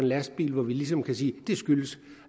lastbil hvor vi ligesom kan sige at det skyldtes